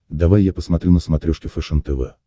давай я посмотрю на смотрешке фэшен тв